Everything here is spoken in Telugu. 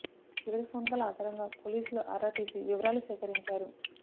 చివరి ఫోన్ కాల్ ఆధారంగా పోలీసులు ఆరా తీసి వివరాలు సేకరించారు